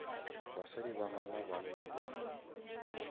basadi ba gana banna ba